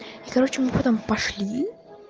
короче мы потом пошли